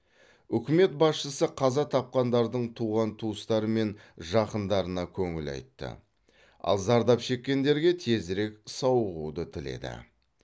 үкімет басшысы қаза тапқандардың туған туыстары мен жақындарына көңіл айтты ал зардап шеккендерге тезірек сауығуды тіледі